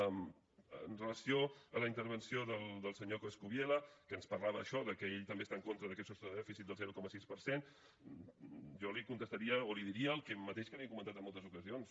amb relació a la intervenció del senyor coscubiela que ens parlava això del fet que ell també està en contra d’aquest sostre de dèficit del zero coma sis per cent jo li contestaria o li diria el mateix que li he comentat en moltes ocasions